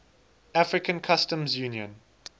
african customs union